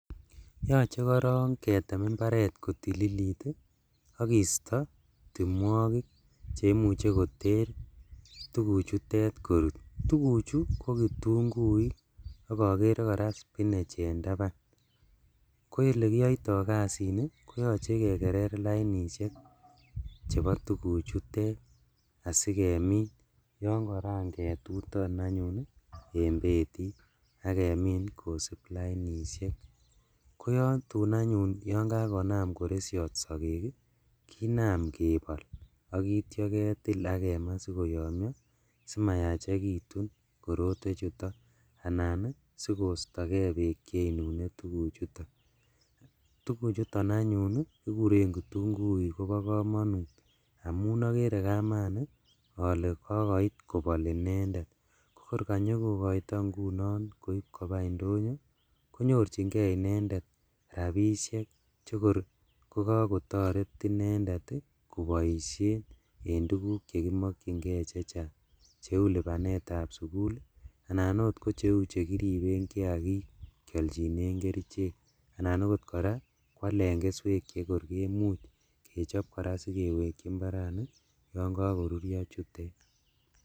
Yache koronketem imbaret kotililit akisto temwogik cheimuche koter tuguk chemutet korut tuguk chuton ko kitunguik agakere koraa Cs spinach Cs en taban koyelekiyotoi kasit niton koyache kekeree lainishek chebobtuguk chutet asikemin yangagetutan anyun en betit angemin kosub lainishek koyatun anyun konam koreshiot sakek kinam ngebol agenam ketil agemaa simayachekitunb korotwek chuton anan sikostagei bek en tuguk chuton tuguk chuton anyun keguren kitunguik akobo kamanut amun agere kamanut ale kokoit kobal inendet akogor kanyokokaito ngunon kokoito koib Koba indonyo konyorchin gei inendet rabishek chekor kotaret inendet kobaishen en tuguk chekimakingei chechang cheu lobanet ab sugul anan Kou chekiribenbgei chekialen kerchek chekibiten nyanyik anan okot kotkraa kialen kerchek AK keswek cheimuche kechobbkoraa sikeweki gei yangagotutio chutet